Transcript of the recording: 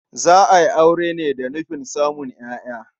Za a aure ne da nufin samun ƴaƴa.